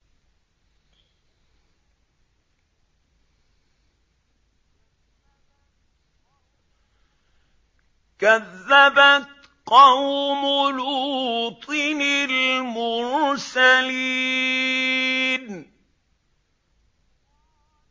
كَذَّبَتْ قَوْمُ لُوطٍ الْمُرْسَلِينَ